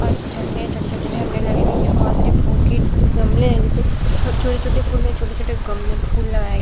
और झंडे छोटे-छोटे झंडे लगे है नीचे में बहोत सारे फूल के गमले है जिसमें हर छोटे-छोटे फूल में छोटे-छोटे गमले में फूल लगाए --